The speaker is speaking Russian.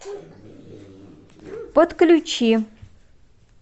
подключи